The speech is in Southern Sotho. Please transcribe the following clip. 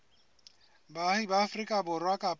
baahi ba afrika borwa kapa